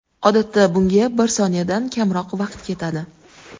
Odatda, bunga bir soniyadan kamroq vaqt ketadi.